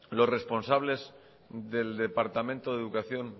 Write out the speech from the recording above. los responsables del departamento de educación